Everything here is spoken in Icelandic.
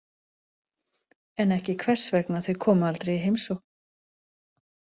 En ekki hvers vegna þau komu aldrei í heimsókn.